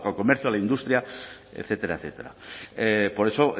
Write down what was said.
comercio a la industria etcétera etcétera por eso